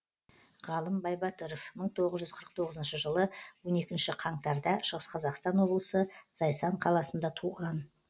ғалым байбатыров мың тоғыз жүз қырық тоғызыншы жылы он екінші қаңтар да шығыс қазақстан облысы зайсан қаласында туған